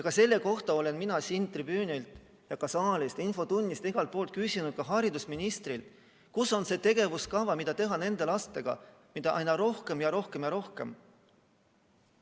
Ka selle kohta olen mina siit tribüünilt ja infotunnis saalist küsinud, ka haridusministrilt, et kus on tegevuskava selle kohta, mida teha nende lastega, keda on aina rohkem ja rohkem ja rohkem.